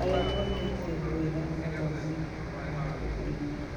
arĩa mekĩtĩ wega mathomoinĩ ma rũrĩrĩ.